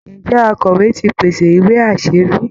Ǹjẹ́ akọ̀wé ti pèsè ìwé-aṣẹ̀rí